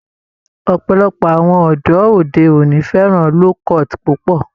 Ọ̀pọ̀lọpọ̀ àwọn ọ̀dọ́ òde òní fẹ́ràn low-cut púpọ̀